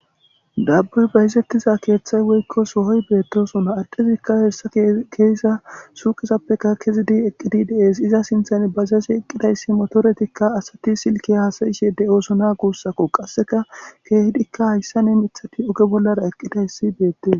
Daaboy bayzetiza keeththay woykko sohoy beetoosona. addezikka keyiza suuqezappekka kezidi eqqidi de7ees. Iza sinththani bajaaje eqidayssi motoretikka asati silkke haasayishe de7oosona guusakko. Qasseka keehidikka hayssani miththati ogge bollara eqqidaytti beetees.